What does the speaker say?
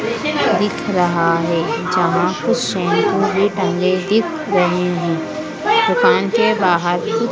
दिख रहा है जहां कुछ शैंपू भी टांगे दिख रहे हैं दुकान के बाहर--